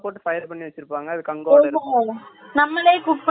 நம்மளே cook பண்ணி சாப்பிறது ஒரு not clear correct